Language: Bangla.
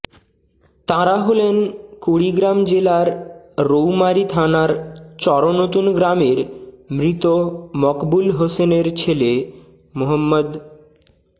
তাঁরা হলেন কুড়িগ্রাম জেলার রৌমারী থানার চরনতুন গ্রামের মৃত মকবুল হোসেনের ছেলে মো